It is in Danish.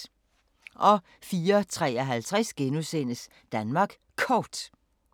04:53: Danmark Kort *